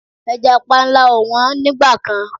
Ẹja panla ò wọ́n nígbà kan.